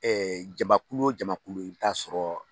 Ɛɛ jamakulu o jamakulu i bɛ t'a sɔrɔ